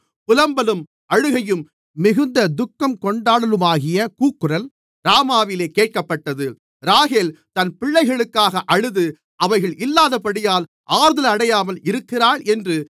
புலம்பலும் அழுகையும் மிகுந்த துக்கங்கொண்டாடலுமாகிய கூக்குரல் ராமாவிலே கேட்கப்பட்டது ராகேல் தன் பிள்ளைகளுக்காக அழுது அவைகள் இல்லாதபடியால் ஆறுதலடையாமல் இருக்கிறாள் என்று